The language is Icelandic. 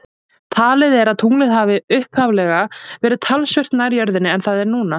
Talið er að tunglið hafi upphaflega verið talsvert nær jörðinni en það er núna.